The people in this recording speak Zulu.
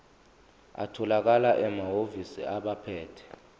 atholakala emahhovisi abaphethe